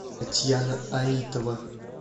татьяна аитова